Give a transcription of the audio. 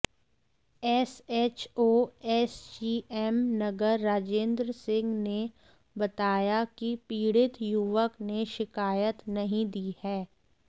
SHO SGM Nagar Rajendra Singh ने बताया कि पीड़ित युवक ने शिकायत नहीं दी है